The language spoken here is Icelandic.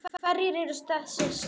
En hverjir eru þessir strákar?